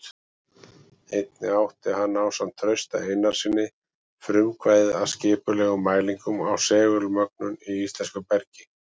Einnig átti hann ásamt Trausta Einarssyni frumkvæðið að skipulegum mælingum á segulmögnun í íslensku bergi.